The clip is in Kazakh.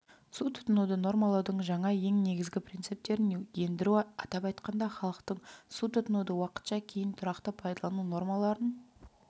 су тұтынуды нормалаудың жаңа ең негізді принциптерін ендіру атап айтқанда халықтың су тұтынуды уақытша кейін тұрақты пайдалану нормаларын